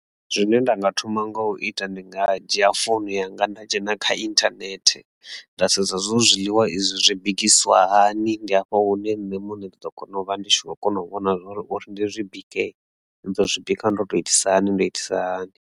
Zwine nda nga thoma nga u ita ndi nga dzhia founu yanga nda dzhena kha internet nda sedza zwo zwiḽiwa izwi zwi bikisiwa hani ndi hafha hune nṋe muṋe ḓo vha ndi tshi kho kona u vhona zwori uri ndi zwi bike ndi ḓo zwi bika ndo to itisa hani nda itisa hani.